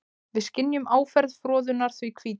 Við skynjum áferð froðunnar því hvíta.